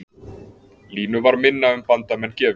Línu var minna um bandamenn gefið